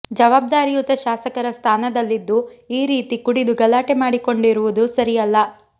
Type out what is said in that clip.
ಜವಾಬ್ದಾರಿಯುತ ಶಾಸಕರ ಸ್ಥಾನದಲ್ಲಿದ್ದು ಈ ರೀತಿ ಕುಡಿದು ಗಲಾಟೆ ಮಾಡಿಕೊಂಡಿರುವುದು ಸರಿಯಲ್ಲ